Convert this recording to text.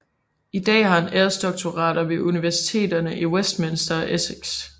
I dag har han æresdoktorater ved universiteterne i Westminster og Essex